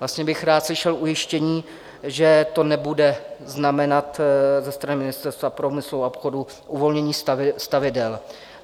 Vlastně bych rád slyšel ujištění, že to nebude znamenat ze strany Ministerstva průmyslu a obchodu uvolnění stavidel.